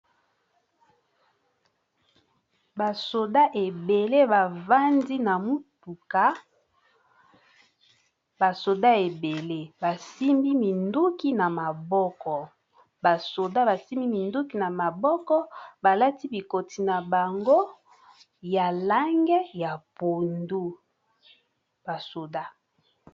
Ba soda ebele bavandi na mutuka ba soda ebele basimbi minduki na maboko balati bikoti na bango ya lange ya pondu basoda.